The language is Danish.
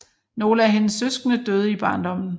Nogle af hendes søskende døde i barndommen